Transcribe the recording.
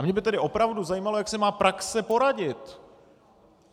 A mě by tedy opravdu zajímalo, jak si má praxe poradit!